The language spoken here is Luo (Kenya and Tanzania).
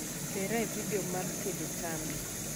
tera e video mar tedo tambi